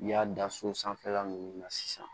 N'i y'a da so sanfɛla nunnu na sisan